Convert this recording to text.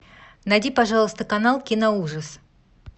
найди пожалуйста канал киноужас